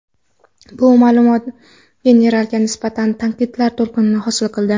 Bu ma’lumot generalga nisbatan tanqidlar to‘lqinini hosil qildi.